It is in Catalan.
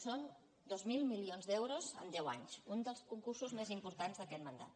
són dos mil milions d’euros en deu anys un dels concursos més importants d’aquest mandat